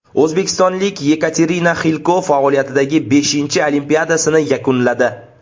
O‘zbekistonlik Yekaterina Xilko faoliyatidagi beshinchi Olimpiadasini yakunladi.